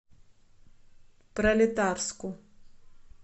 пролетарску